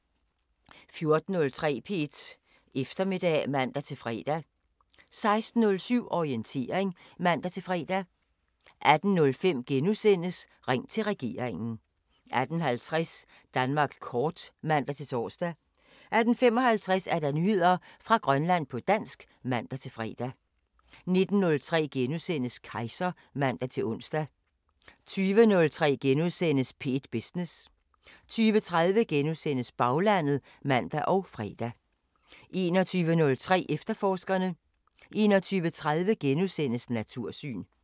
14:03: P1 Eftermiddag (man-fre) 16:07: Orientering (man-fre) 18:05: Ring til regeringen * 18:50: Danmark Kort (man-tor) 18:55: Nyheder fra Grønland på dansk (man-fre) 19:03: Kejser *(man-ons) 20:03: P1 Business * 20:30: Baglandet *(man og fre) 21:03: Efterforskerne 21:30: Natursyn *